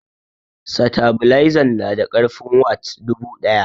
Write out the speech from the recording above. Satabilzan na da karfin watts dubu daya